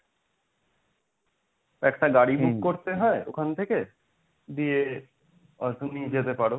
একটা গাড়ি book করতে হয় ওখান থেকে দিয়ে তুমি যেতে পারো।